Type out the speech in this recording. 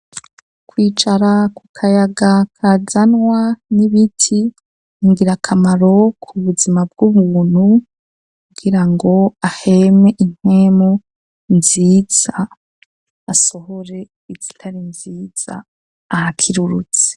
Kwicara ku kayaga kazanwa n'ibiti ningirakamaro ku buzima bw'ubuntu kugirango aheme impwemu nziza asohore izitari nziza ahakirurutse.